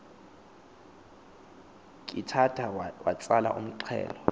khithatha watsala umxhelo